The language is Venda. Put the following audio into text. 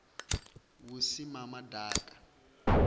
vhusimamaḓaka